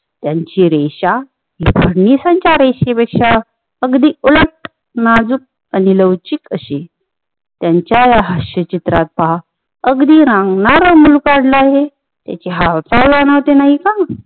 त्यांची रेशा फडणवीसांच्या रेषेपेक्षा अगदी उलट नाजूक आणी लौचीक अशी त्यांचा ह्या हास्य चित्रात पहा अगदी रांगणार मूल काडल आहे त्यांची हालचाल जाणवते नाही का